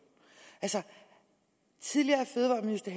tidligere fødevareminister